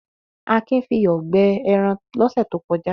kin fi iyọ̀ gbẹ ẹran lọ́sẹ̀ tó kọjá.